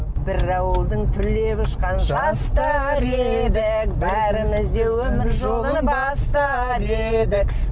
бір ауылдың түлеп ұшқан жастары едік бәріміз де өмір жолын бастап едік